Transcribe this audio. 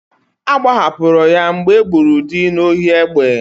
Agbahapụrụ ya mgbe e gburu dị n'ohi egbe.